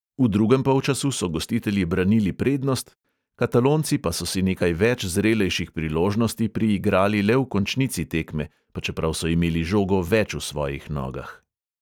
V drugem polčasu so gostitelji branili prednost, katalonci pa so si nekaj več zrelejših priložnosti priigrali le v končnici tekme, pa čeprav so imeli žogo več v svojih nogah.